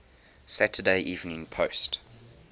saturday evening post